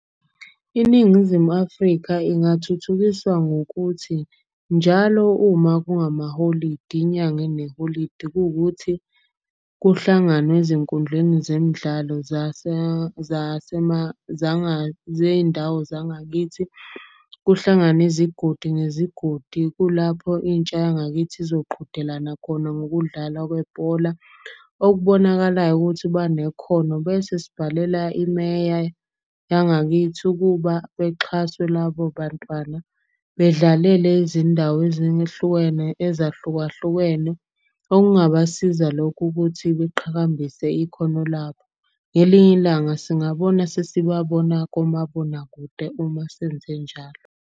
INingizimu Afrika ingathuthukiswa ngokuthi, njalo uma kungamaholidi inyanga eneholidi. Kuwukuthi kuhlanganwe ezinkundleni zemidlalo zey'ndawo zangakithi, kuhlangane izigodi nezigodi. Kulapho intsha yangakithi zizoqhudelana khona ngokudlala kwebhola. Okubonakalayo ukuthi banekhono bese sibhalela imeya yangakithi ukuba bexhaswe labo bantwana. Bedlalele izindawo ezahlukahlukene okungabasiza lokhu, ukuthi beqhakambise ikhono labo. Ngelinye ilanga singabona sesibabona komabonakude uma senze njalo.